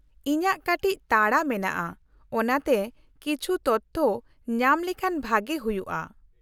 -ᱤᱧᱟᱹᱜ ᱠᱟᱹᱴᱤᱪ ᱛᱟᱲᱟ ᱢᱮᱱᱟᱜᱼᱟ ᱚᱱᱟᱛᱮ ᱠᱤᱪᱷᱩ ᱛᱚᱛᱷᱚ ᱧᱟᱢ ᱞᱮᱱᱠᱷᱟᱱ ᱵᱷᱟᱹᱜᱤ ᱦᱩᱭᱩᱜᱼᱟ ᱾